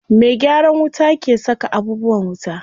Me gyaran wuta ke saka abubuwan wuta.